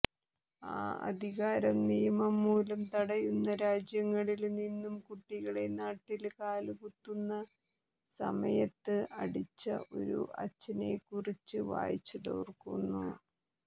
ആ അധികാരം നിയമം മൂലം തടയുന്ന രാജ്യങ്ങളില് നിന്നും കുട്ടികളെ നാട്ടില് കാലുകുത്തുന്ന സമയത്ത് അടിച്ച ഒരു അച്ഛനെക്കുറിച്ച് വായിച്ചതോര്ക്കുന്നു